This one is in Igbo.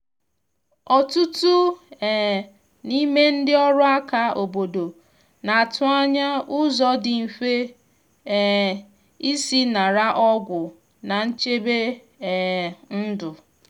ọtụtụ um n’ime ndị ọrụ aka obodo na atụ anya ụzọ dị mfe um isi nara ọgwụ na nchebe um ndu.